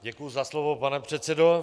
Děkuji za slovo, pane předsedo.